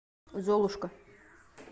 золушка